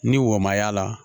Ni wo ma y'a la